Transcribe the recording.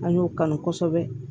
An y'o kanu kosɛbɛ